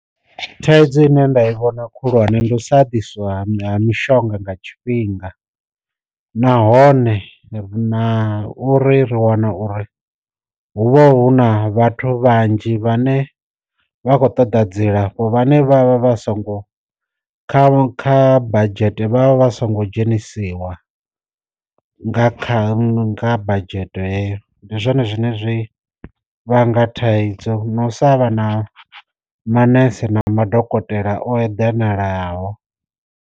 Thaidzo ine nda i vhona khulwane ndi u sa ḓiswa ha mishonga nga tshifhinga, nahone ri na uri ri wana uri huvha hu na vhathu vhanzhi vhane vha khou ṱoḓa dzilafho vhane vha vha vha songo kha badzhete vhavha vha songo dzhenisiwa nga kha nga badzhete heyo, ndi zwone zwine zwi vhanga thaidzo na u sa vha na manese na madokotela o eḓanalaho.